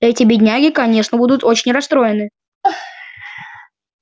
эти бедняги конечно будут очень расстроены